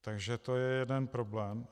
Takže to je jeden problém.